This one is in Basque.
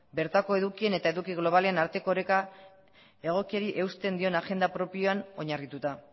bertako edukien eta eduki globalen arteko oreka egokiari eusten dion agenda propioan oinarrituta